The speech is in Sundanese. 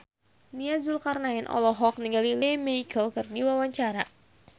Nia Zulkarnaen olohok ningali Lea Michele keur diwawancara